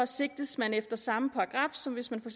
sigtes man efter samme paragraf som hvis man for